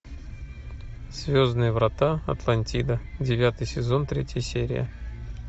звездные врата атлантида девятый сезон третья серия